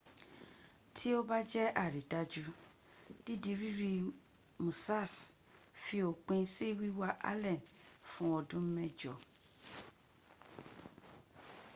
tó bá jẹ àrídájú dídi rírí musassh fi òpin sí wíwá allen fún ọdún mẹ́jọ